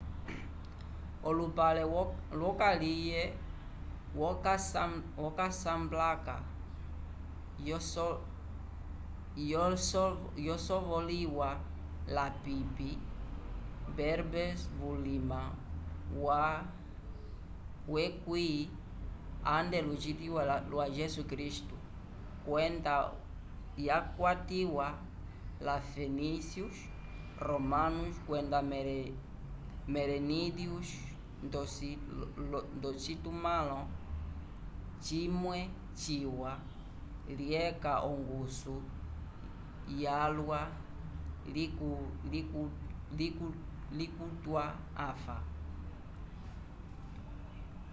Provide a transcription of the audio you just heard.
olupale wokaliye wo casablanca yosovoliwa lapipi berbers vulima wa x a c kwenda yakwatiwa la fenícios romanos kwenda merenídeos ndocitumãlo cimwe ciwa lyeca ongusu yalwa litukwiwa anfa